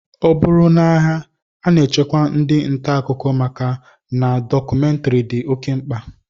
Ọ bụrụ n'agha, a na-echekwa ndị ntaakụkọ maka na dọkụmentrị dị oké mkpa